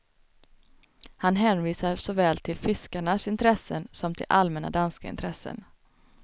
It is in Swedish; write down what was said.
Han hänvisar såväl till fiskarnas intressen som till allmänna danska intressen.